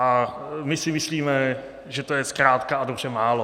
A my si myslíme, že to je zkrátka a dobře málo.